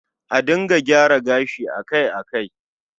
A dinga gyara gashi akai-akai